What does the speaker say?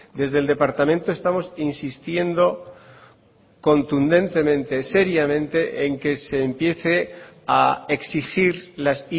desde el departamento estamos insistiendo contundentemente seriamente en que se empiece a exigir las